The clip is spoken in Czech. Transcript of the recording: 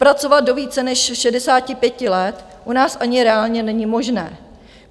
Pracovat do více než 65 let u nás ani reálně není možné.